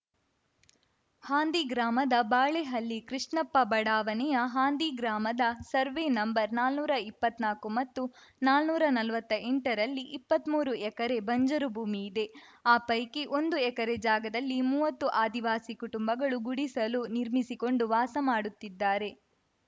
ಹಾಂದಿ ಗ್ರಾಮದ ಬಾಳೆಹಳ್ಳಿ ಕೃಷ್ಣಪ್ಪ ಬಡಾವಣೆಯ ಹಾಂದಿ ಗ್ರಾಮದ ಸರ್ವೆ ನಂಬರ್ನಾನುರಾ ಇಪ್ಪತ್ನಾಕು ಮತ್ತು ನಾನುರಾ ನಲ್ವತ್ತೆಂಟರಲ್ಲಿ ಇಪ್ಪತ್ಮೂರು ಎಕರೆ ಬಂಜರು ಭೂಮಿ ಇದೆ ಆ ಪೈಕಿ ಒಂದು ಎಕರೆ ಜಾಗದಲ್ಲಿ ಮುವತ್ತು ಆದಿವಾಸಿ ಕುಟುಂಬಗಳು ಗುಡಿಸಲು ನಿರ್ಮಿಸಿಕೊಂಡು ವಾಸ ಮಾಡುತ್ತಿದ್ದಾರೆ